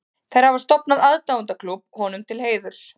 Þær hafa stofnað aðdáendaklúbb honum til heiðurs.